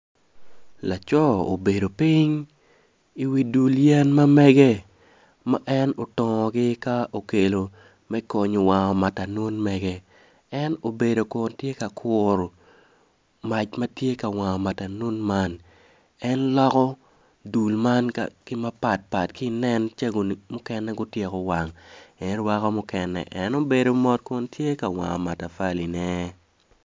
Laco obedo piny i wi dul yen ma mege ma en otongogi ka okelo me konyo wango matanun mege en obedo kun tye ka kuru mac ma tye ka wango matanun man en loko yen man ka mukene gutyeko wang en rwako mukene en obedo mot kun tye ka wango matafaline.